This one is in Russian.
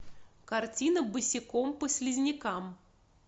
картина босиком по слизнякам